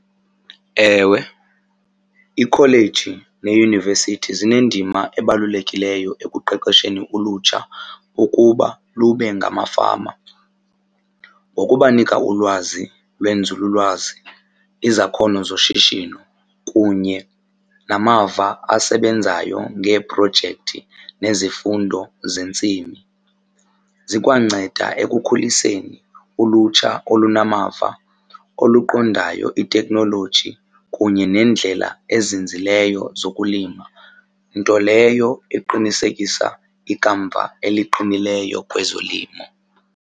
Ewe, ikholeji neyunivesithi zinendima ebalulekileyo ekuqeqesheni ulutsha ukuba lube ngamafama ngokubanika ulwazi lwenzululwazi, izakhono zoshishino kunye namava asebenzayo ngeeprojekthi nezifundo zentsimi. Zikwanceda ekukhuliseni ulutsha olunamava, oluqondayo iteknoloji kunye nendlela ezinzileyo zokulima. Nto leyo eqinisekisa ikamva eliqinileyo kwezolimo.